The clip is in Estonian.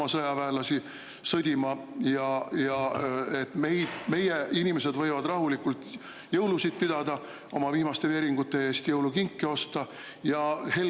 … ei saada Ukrainasse sõdima ja meie inimesed võivad rahulikult jõulusid pidada, oma viimaste veeringute eest jõulukinke osta ja helgelt …